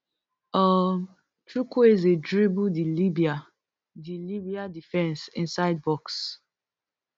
um chukwueze dribble di libya di libya defence inside box